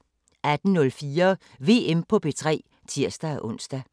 18:04: VM på P3 (tir-ons)